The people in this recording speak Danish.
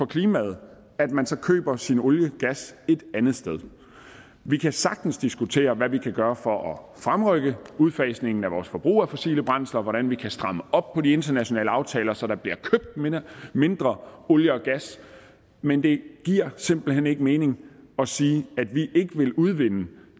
klimaet at man så køber sin olie og gas et andet sted vi kan sagtens diskutere hvad vi kan gøre for at fremrykke udfasningen af vores forbrug af fossile brændsler og hvordan vi kan stramme op på de internationale aftaler så der bliver købt mindre olie og gas men det giver simpelt hen ikke mening at sige at vi ikke vil udvinde